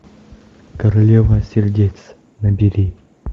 королева сердец набери